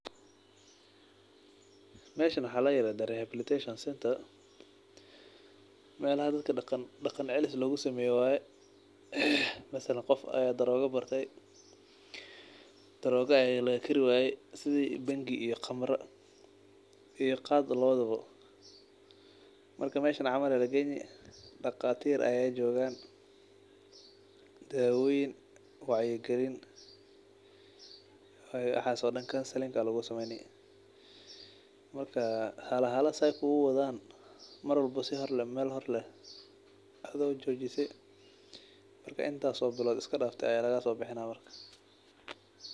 Mesha wa layirahdaa rehabilitation centre, melaha dadka daqan celis logusameyo waye. Mathslsn qof ayaa daroga bartey, daroga ayaa lagakari waye, sidi bangi iyo kamra iyo khad lawadaba , marka meshan aa lageyni daqtarin aa jogan , dawoyin wacyi galin aa lasini waxaas oo dhan counselling aa lugusameyni.